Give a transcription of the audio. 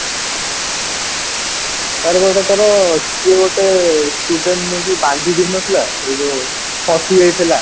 ତାର ପା ଗୋଟେ ତାର କିଏ ଗୋଟେ student ନେଇକି ବାନ୍ଧିଦେଇନଥିଲା ସେଇ ଯୋଉ ଖସି ଯାଇଥିଲା